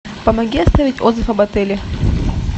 помоги оставить отзыв об отеле